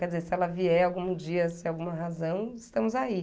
Quer dizer, se ela vier algum dia, se há alguma razão, estamos aí.